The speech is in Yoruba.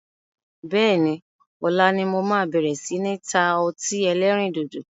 Bẹ́ẹ̀ni, ọ̀la ni mo máa bẹ̀rẹ̀ si ni ta ọtí ẹlẹ́rìndòdò